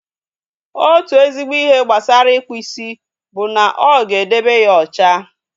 Otu ezigbo ihe gbasara ịkpụ isi bụ na ọ ga-edebe ya ocha